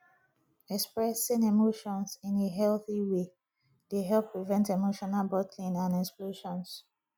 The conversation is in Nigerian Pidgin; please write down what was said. expressing emotions in a healthy way dey help prevent emotional bottling and explosions